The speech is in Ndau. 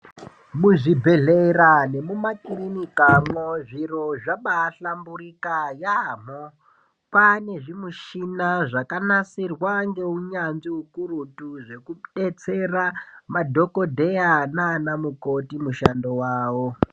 Muzvibhedhlera nemumakirinikamwo , zviro zvabahlamburika yamho pane zvimushina zvakanasirwa ngeunyanzvi hukurutu zvekudetsera madhokodheya nanamukoti mushando wawo